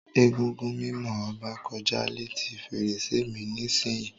Egúngún mimo Oba koja leti ferese mi nisiyi.